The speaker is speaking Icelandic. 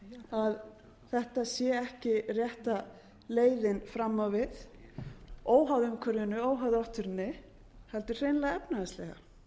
að þetta sé ekki rétta leiðin fram á við óháð umhverfinu óháð náttúrunni heldur hreinlega efnahagslega